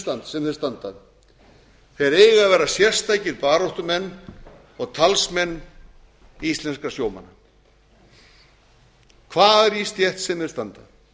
stétt sem þeir standa eiga að vera sérstakir baráttumenn og talsmenn íslenskra sjómanna hvar í stétt sem þeir standa